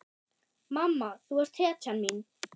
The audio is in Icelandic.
Mamma, þú ert hetjan mín.